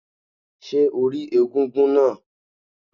Ṣé o rí egúngún náà?